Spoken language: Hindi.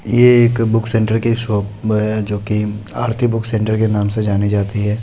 ये एक बुक - सेंटर की शॉप है जो की आरती बुक - सेंटर के नाम से जानी जाती है।